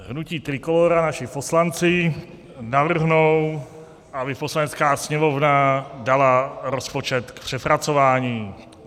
Hnutí Trikolóra, naši poslanci, navrhnou, aby Poslanecká sněmovna dala rozpočet k přepracování.